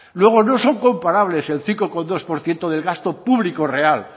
luego no son comparables el cinco coma dos por ciento de gasto público real